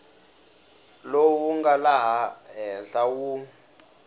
lowu nga laha henhla wu